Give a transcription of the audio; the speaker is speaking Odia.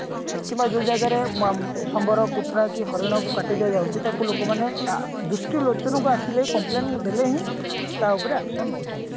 କିମ୍ବା ଯୋଉ ଜାଗାରେ ମ ସମ୍ବାର କୁଟୁରା କି ହରିଣ କୁ କାଟି ଦିଆଯାଉଛି ତାକୁ ଲୋକମାନେ ଅ ଦୃଷ୍ଟି ଲୋଚନକୁ ଆସିଲେ complain ଦେଲେ ହିଁ ତା ଉଆପରେ action ନଉଛନ୍ତି